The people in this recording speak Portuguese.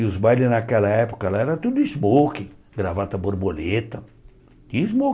E os bailes naquela época lá era tudo smokin, gravata borboleta, tinha